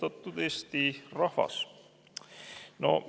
Austatud Eesti rahvas!